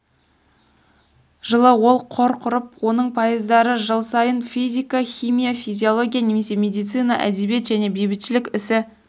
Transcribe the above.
жылы ол қор құрып оның пайыздары жыл сайынфизика химия физиология немесе медицина әдебиет және бейбітшілік ісі